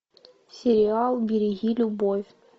сериал береги любовь